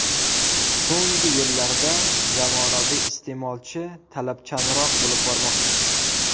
So‘nggi yillarda zamonaviy iste’molchi talabchanroq bo‘lib bormoqda.